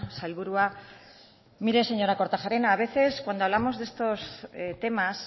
sailburua mire señora kortajarena a veces cuando hablamos de estos temas